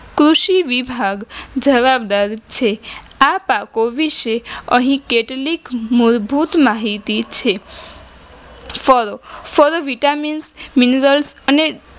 કૃષિ વિભાગ જવાબદાર છે આ પાકો વિશે અહી કેટલીક મૂળભૂત માહિતી છે. ફળો ફળો vitamins minerals અને